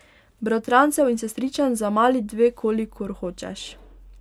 Bratrancev in sestričen za mali dve kolikor hočeš.